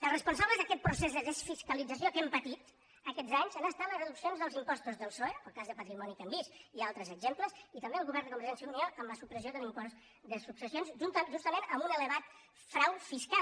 els responsables d’aquest procés de desfiscalització que hem patit aquests anys han estat les reduccions dels impostos del psoe el cas de patrimoni que hem vist i altres exemples i també del govern de convergència i unió amb la supressió de l’impost de successions justament amb un elevat frau fiscal